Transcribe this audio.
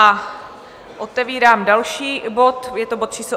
A otevírám další bod, je to bod číslo